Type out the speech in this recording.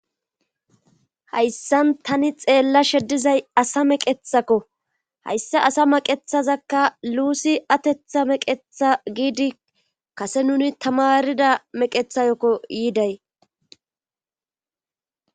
Hayssan tani xeella sheddizay asa meqethakko hayssa asa maqethazakka luusi atetha meqetha giidi kase nuni tamarida meqethayokko yiiday